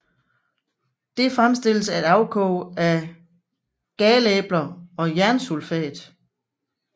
Det fremstilles af et afkog af galæbler og jernsulfat